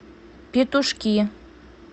петушки